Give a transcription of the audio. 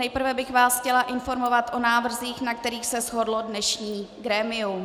Nejprve bych vás chtěla informovat o návrzích, na kterých se shodlo dnešní grémium.